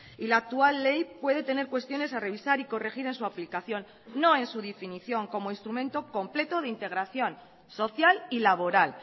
y la actual ley puede tener cuestiones a revisar y corregir en su aplicación no en su definición como instrumento completo de integración social y laboral